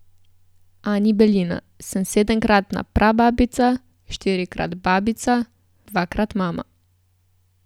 Ani Belina: "Sem sedemkratna prababica, štirikrat babica, dvakrat mama.